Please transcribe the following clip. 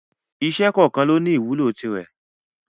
Iṣẹ́ kọ̀ọ̀kan lóní ìwúlò tirẹ̀.